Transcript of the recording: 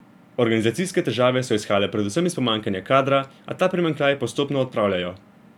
Organizacijske težave so izhajale predvsem iz pomanjkanja kadra, a ta primanjkljaj postopno odpravljajo.